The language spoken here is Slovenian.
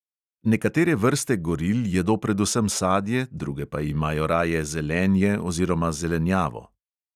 Nekatere vrste goril jedo predvsem sadje, druge pa imajo raje zelenje oziroma zelenjavo.